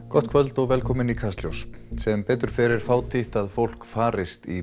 gott kvöld og velkomin í Kastljós sem betur fer er fátítt að fólk farist í